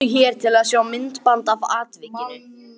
Smeltu hér til að sjá myndband af atvikinu